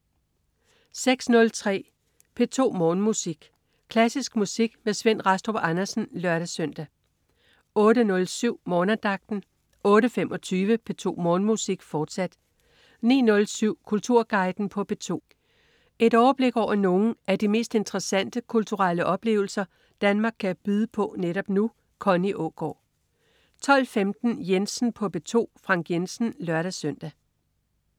06.03 P2 Morgenmusik. Klassisk musik med Svend Rastrup Andersen (lør-søn) 08.07 Morgenandagten 08.25 P2 Morgenmusik, fortsat 09.07 Kulturguiden på P2. Et overblik over nogle af de mest interessante kulturelle oplevelser Danmark kan byde på netop nu. Connie Aagaard 12.15 Jensen på P2. Frank Jensen (lør-søn)